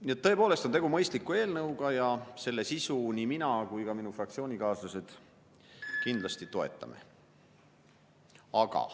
Nii et tõepoolest on tegu mõistliku eelnõuga ja selle sisu nii mina kui ka minu fraktsioonikaaslased kindlasti toetame.